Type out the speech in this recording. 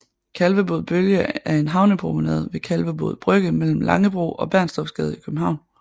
Kalvebod Bølge er en havnepromenade ved Kalvebod Brygge mellem Langebro og Bernstorffsgade i København